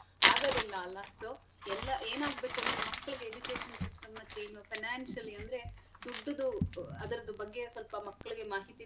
ಆಗದಿಲ್ಲ ಅಲ್ಲಾ so ಎಲ್ಲಾ ಎನಾಗ್ಬೇಕು ಅಂದ್ರೆ ಮಕ್ಳಿಗೆ education system ನ chain ಉ financially ಅಂದ್ರೆ ದುಡ್ಡುದು ಅದ್ರದ್ ಬಗ್ಗೆ ಸ್ವಲ್ಪ ಮಕ್ಳಿಗೆ ಮಾಹಿತಿ.